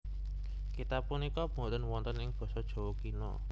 Kitab punika boten wonten ing basa Jawa Kina